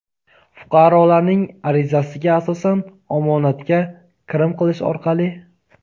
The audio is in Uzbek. fuqarolarning arizasiga asosan omonatga kirim qilish orqali;.